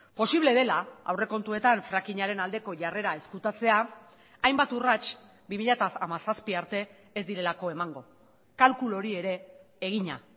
posible dela aurrekontuetan frakingaren aldeko jarrera ezkutatzea hainbat urrats bi mila hamazazpi arte ez direlako emango kalkulu hori ere egina